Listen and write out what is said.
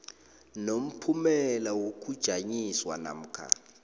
nomphumela wokujanyiswa namkha